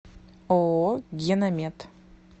ооо геномед